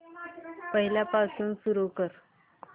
पहिल्यापासून सुरू कर